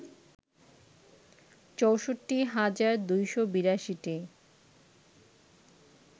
৬৪ হাজার ২৮২টি